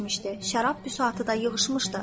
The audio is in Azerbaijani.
Şərab büsatı da yığışmışdı.